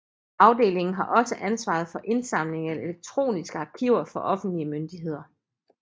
Afdelingen har også ansvaret for indsamling af elektroniske arkiver fra offentlige myndigheder